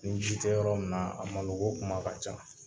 Ni ji tɛ yɔrɔ min na, a malo ko kuma ka ca